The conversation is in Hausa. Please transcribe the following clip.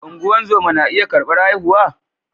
Ungozama na iya karbar haihuwa